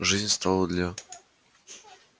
жизнь стала для